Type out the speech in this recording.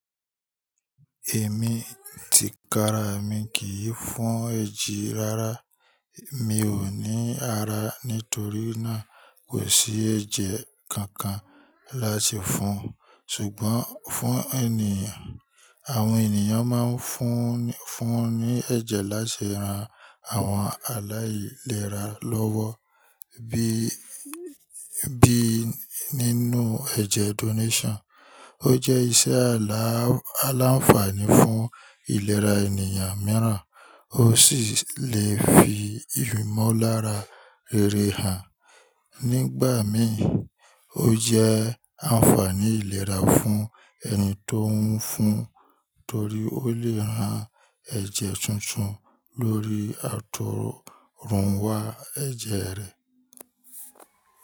Èmi ti kara èmi kì í fún èjì rárá. Mi ò ní àrá nítorí náà kò sí ẹ̀jẹ̀ kànkàn láti fún un. Ṣùgbọ́n fún ènìyàn, àwọn ènìyàn máa ń fún ní ẹ̀jẹ̀ láti rán àwọn aláìlera lọ́wọ́ bí bí nínú ẹ̀jẹ̀ donation. Ó jẹ́ iṣẹ́ aláfààní fún ìlera ènìyàn mìíràn, ó sì lè fi ìmọ̀lára rèrè hàn. Nígbà mí, ó jẹ́ àǹfààní ìlera fún ẹni tó ń fún torí ó lè ran ẹ̀jẹ̀ tùntùn lórí àtọ̀runwá ẹ̀jẹ̀ rẹ̀.